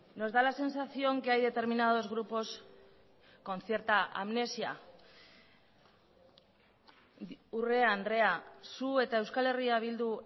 nos da la sensación que hay determinados grupos con cierta amnesia urrea andrea zu eta euskal herria bildu